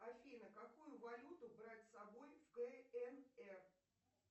афина какую валюту брать с собой в кнр